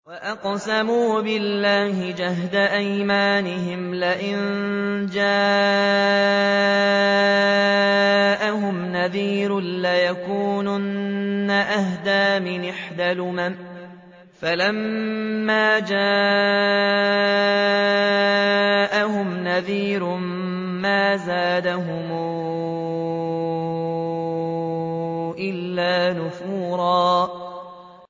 وَأَقْسَمُوا بِاللَّهِ جَهْدَ أَيْمَانِهِمْ لَئِن جَاءَهُمْ نَذِيرٌ لَّيَكُونُنَّ أَهْدَىٰ مِنْ إِحْدَى الْأُمَمِ ۖ فَلَمَّا جَاءَهُمْ نَذِيرٌ مَّا زَادَهُمْ إِلَّا نُفُورًا